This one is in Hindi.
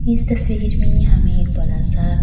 इस तस्वीर में हमें बड़ा-सा --